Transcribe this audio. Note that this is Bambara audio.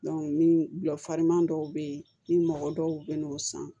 ni gulɔ fariman dɔw bɛ yen ni mɔgɔ dɔw bɛ n'o san